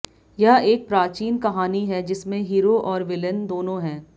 यह एक प्राचीन कहानी है जिसमें हीरो और विलेन दोनों हैं